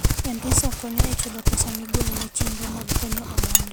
M-Pesa konyo e chulo pesa migolo ne chenro mag konyo oganda.